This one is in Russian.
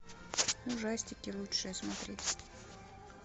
ужастики лучшее смотреть